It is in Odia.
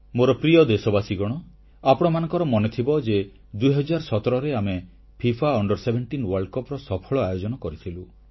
ମୋର ପ୍ରିୟ ଦେଶବାସୀଗଣ ଆପଣମାନଙ୍କର ମନେଥିବ 2017ରେ ଆମେ ଫିଫା ଅଣ୍ଡର17 ବିଶ୍ୱ କପର ସଫଳ ଆୟୋଜନ କରିଥିଲୁ